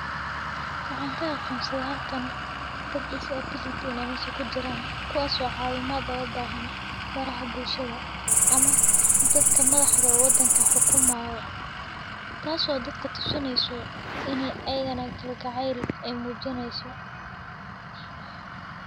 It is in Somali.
Waxaan kaga akhonsada harkaan dad disability in amishu ku jiraan, kuwaasoo caawimaada oo baahan maraha bulshada ama dadka madaxda waddanka xukuumaya. Taasoo dadka tusinayso inee eygan kalgacayl ay muujinayso.